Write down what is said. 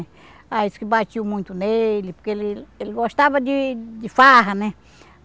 Aí dizia que batiam muito nele, porque ele ele gostava de de farra, né?